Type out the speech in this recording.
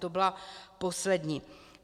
To byla poslední.